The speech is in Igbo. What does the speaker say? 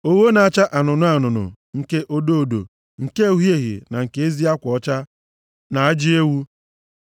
ogho na-acha anụnụ anụnụ, nke odo odo, nke uhie uhie na nke ezi akwa ọcha, na ajị ewu;